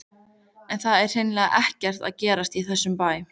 En það er hreinlega ekkert að gerast í þessum bæ.